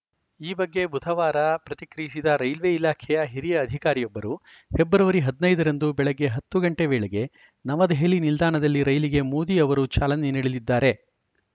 ಈ ಬಗ್ಗೆ ಬುಧವಾರ ಪ್ರತಿಕ್ರಿಯಿಸಿದ ರೈಲ್ವೆ ಇಲಾಖೆಯ ಹಿರಿಯ ಅಧಿಕಾರಿಯೊಬ್ಬರು ಫೆಬ್ರವರಿ ಹದಿನೈದ ರಂದು ಬೆಳಗ್ಗೆ ಹತ್ತು ಗಂಟೆ ವೇಳೆಗೆ ನವದೆಹಲಿ ನಿಲ್ದಾಣದಲ್ಲಿ ರೈಲಿಗೆ ಮೋದಿ ಅವರು ಚಾಲನೆ ನೀಡಲಿದ್ದಾರೆ